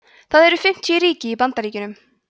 það eru fimmtíu ríki í bandaríkjunum